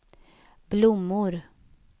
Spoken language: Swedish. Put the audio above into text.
blommor